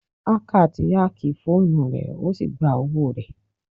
Hacker ti ákì fóònù rẹ ó sì gba owó rẹ.